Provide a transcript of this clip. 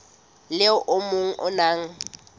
le o mong o na